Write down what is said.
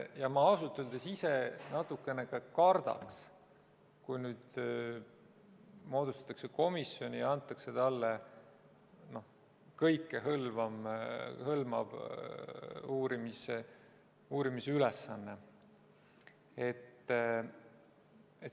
Ja ma ausalt öeldes ise natukene ka kardaks, kui nüüd moodustatakse komisjon ja antakse talle kõikehõlmav uurimisülesanne.